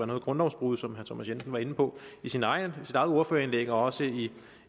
noget grundlovsbrud som herre thomas jensen var inde på i sit eget ordførerindlæg og også i